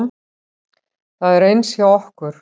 Það er eins hjá okkur.